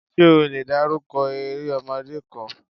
Ṣé o lè dárúkọ eré ọmọdé kan?